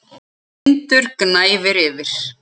Tindur gnæfir yfir.